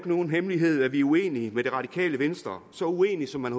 nogen hemmelighed at vi uenige med det radikale venstre så uenige som man